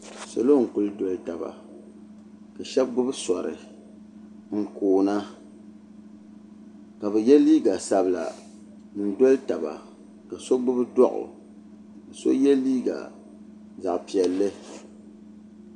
salo n-kuli doli taba ka shɛba gbubi sɔri n-koona ka bɛ ye liiga sabila n-doli taba do' so gbubi doɣu so ye liiga zaɣ' piɛlli